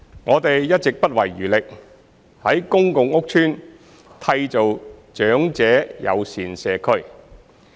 我們一直不遺餘力在公共屋邨締造長者友善社區。